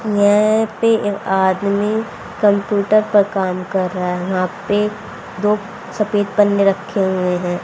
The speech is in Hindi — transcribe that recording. यहां पे ए आदमी कम्प्यूटर पर काम कर रहा है यहां पे दो सफेद पन्ने रखे हुए हैं।